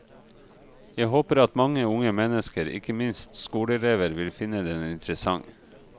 Jeg håper at mange unge mennesker, ikke minst skoleelever, vil finne den interessant.